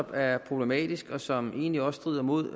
er problematisk og som egentlig også strider mod